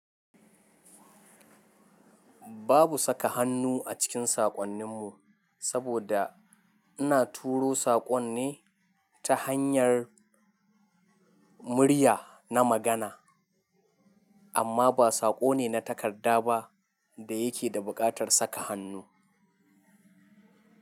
Babu saka hannu a cikin saƙonninmu, saboda ina turo saƙon ne ta hanyar murya na magana amma ba saƙo ne na takarda ba da yake da buƙatar saka hannu.